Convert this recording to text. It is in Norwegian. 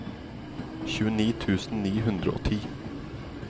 tjueni tusen ni hundre og ti